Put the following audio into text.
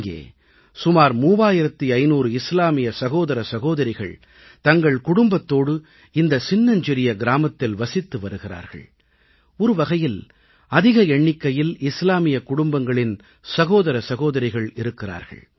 அங்கே சுமார் 3500 இஸ்லாமிய சகோதர சகோதரிகள் தங்கள் குடும்பத்தோடு இந்த சின்னஞ்சிறிய கிராமத்தில் வசித்து வருகிறார்கள் ஒரு வகையில் அதிக எண்ணிக்கையில் இஸ்லாமியக் குடும்பங்களின் சகோதர சகோதரிகள் இருக்கிறார்கள்